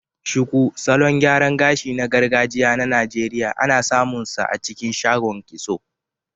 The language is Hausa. Shuku, salon gyaran gashi na gargajiya na Najeriya, ana samunsa a cikin shagon kitso.